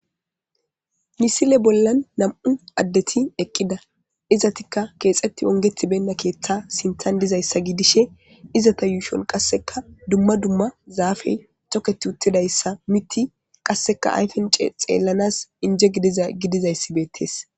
Misile bollan nam7u addeti eqqida izatikka keexetti ongethi benna keeththa sintan dizayssa gidishe izata yuushon qasseka dumma dumma zaafey toketi uttidayssa miti qasseka ayfen c xeellanas inje dgidizayssi beettes.